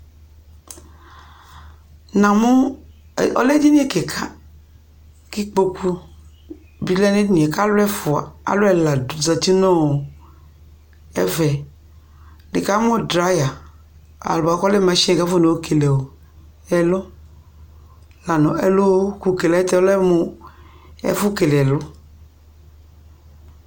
Namʋ, ɔlɛ edini kɩka kʋ ikpoku bɩ lɛ nʋ edini yɛ kʋ alʋ ɛfʋ, alʋ ɛla zati nʋ ɛfɛ Nɩkamʋ draya bʋa kʋ ɔlɛ masini kʋ afɔyɔkele ɛlɔ la nʋ ɛlʋkʋ kele yɛ lɛ mʋ ɛfʋ kele ɛlʋ